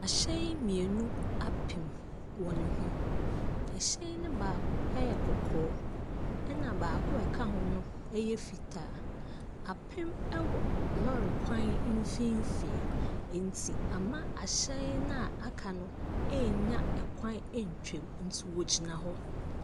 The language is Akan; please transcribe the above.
Ahyɛn mmienu apim wɔn ho. Ɛhyɛn no baako yɛ kɔkɔɔ, ɛna baako a ɛka ho no ɛyɛ fitaa. Apim ɛwɔ lɔrikwan mfimfinn enti ama ahyɛn noa aka no enya kwan atwa mu nti wɔgyina hɔ.